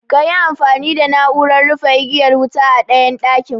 Kayi amfani da na'uran rufe igiyar wuta a ɗayan ɗakin